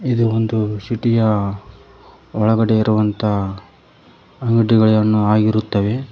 ಇದು ಒಂದು ಸಿಟಿ ಯ ಒಳಗಡೆ ಇರುವಂತಹ ಅಂಗಡಿಗಳನ್ನು ಆಗಿರುತ್ತವೆ.